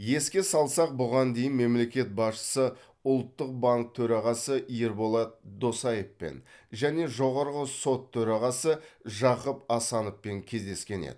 еске салсақ бұған дейін мемлекет басшысы ұлттық банк төрағасы ерболат досаевпен және жоғарғы сот төрағасы жақып асановпен кездескен еді